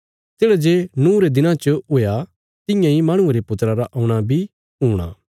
तेढ़ा जे नूँह रे दिनां च हुया तियां इ माहणुये रे पुत्रा रा औणा बी हूणा